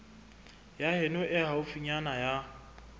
ya heno e haufinyana ya